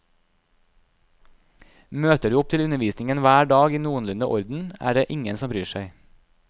Møter du opp til undervisningen hver dag i noenlunde orden, er det ingen som bryr seg.